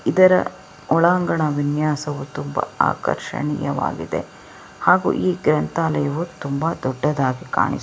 ಇದರ ಒಳಾಂಗಣ ವಿನ್ಯಾಸ ತುಂಬ ಆಕರ್ಷಣೀಯವಾಗಿದೆ ಹಾಗೂ ಈ ಗ್ರಂಥಾಲಯವು ತುಂಬ ದೊಡ್ಡದಾಗಿ ಕಾಣಿಸುತ್ತಿದೆ.